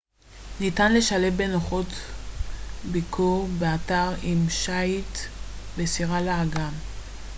ניתן לשלב בנוחות ביקור באתר עם שיט בסירה לאגם